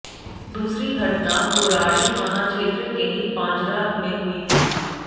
दूसरी घटना कोराड़ी थाना क्षेत्र के ही पांझरा में हुई थी